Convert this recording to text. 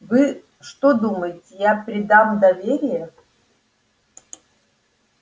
вы что думаете я предам доверие